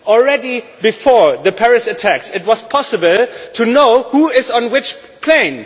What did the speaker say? Even before the Paris attacks it was possible to know who was on which plane.